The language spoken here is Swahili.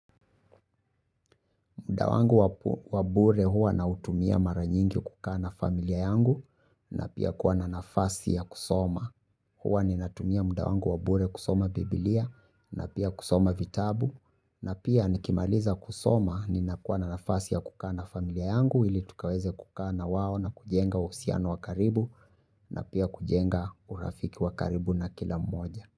Muda wangu wa bure huwa nautumia mara nyingi kukaa na familia yangu na pia kuwa na nafasi ya kusoma. Huwa ninatumia muda wangu wa bure kusoma Biblia na pia kusoma vitabu na pia nikimaliza kusoma ninakuwa na nafasi ya kukaa na familia yangu ili tukaweze kukaa na wawo na kujenga uhusiano wa karibu na pia kujenga urafiki wakaribu na kila mmoja.